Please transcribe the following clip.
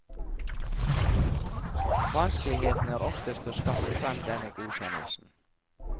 Vanskeligheten er oftest å skaffe frem denne godkjennelsen.